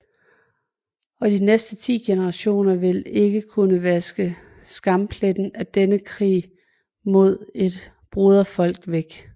Og de næste ti generationer vil ikke kunne vaske skampletten af denne krig mod et broderfolk væk